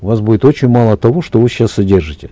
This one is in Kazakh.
у вас будет очень мало того что вы сейчас содержите